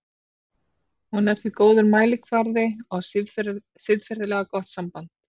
Hún er því góður mælikvarði á siðferðilega gott samband.